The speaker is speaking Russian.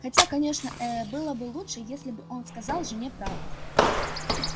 хотя конечно э было бы лучше если бы он сказал жене правду